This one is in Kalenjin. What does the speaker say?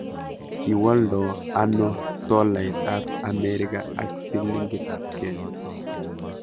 kiwoldo ano tolait ab America ak silingit ab Kenya